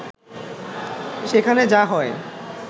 সেখানে যা হয়